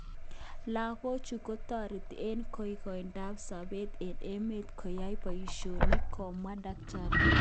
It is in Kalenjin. Lagochu kotoreti eng koikoindap sobet eng emet koyoe boishet kamwa Dkt.